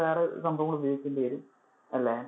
വേറെ സംഭവങ്ങൾ ഉപയോഗിക്കേണ്ടി വരും അല്ലെ.